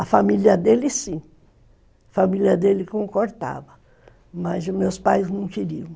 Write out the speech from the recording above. A família dele sim, a família dele concordava, mas os meus pais não queriam.